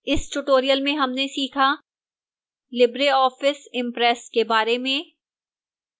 इस tutorial में हमने सीखा: